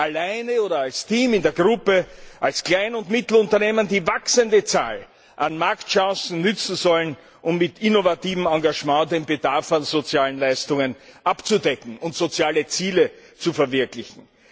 allein oder als Team in der Gruppe als Klein und Mittelunternehmen, die wachsende Zahl an Marktchancen nützen sollen, um mit innovativem Engagement den Bedarf an sozialen Leistungen abzudecken und soziale Ziele zu verwirklichen.